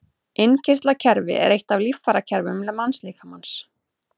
Innkirtlakerfi er eitt af líffærakerfum mannslíkamans.